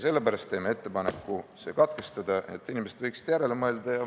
Sellepärast teen ettepaneku lugemine katkestada, et inimesed võiksid järele mõelda.